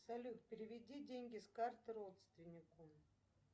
салют переведи деньги с карты родственнику